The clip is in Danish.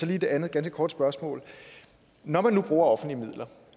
jeg et andet ganske kort spørgsmål når man nu bruger offentlige midler